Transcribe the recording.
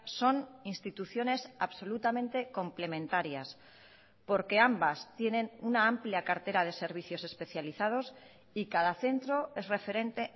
son instituciones absolutamente complementarias porque ambas tienen una amplia cartera de servicios especializados y cada centro es referente